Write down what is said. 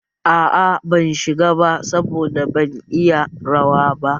Aa, ban shiga ba saboda ban iya rawa ba